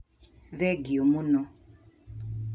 Thengio mũno